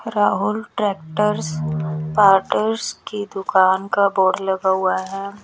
Rahul tractors parts की दुकान का बोर्ड लगा हुआ हैं।